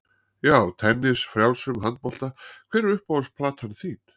Já, tennis, frjálsum, handbolta Hver er uppáhalds platan þín?